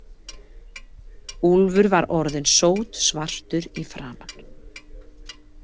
Úlfur var orðinn sótsvartur í framan.